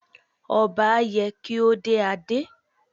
Ọba ye kí ó dé adé.